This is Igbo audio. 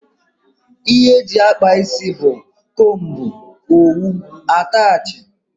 Ihe eji akpa ịsị bụ; combú, owu, atachi wdg.